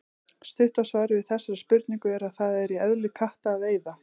Stutta svarið við þessari spurningu er að það er í eðli katta að veiða.